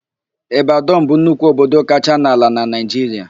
Ịbadọn bụ nnukwu obodo kacha n'ala na Naịjiria.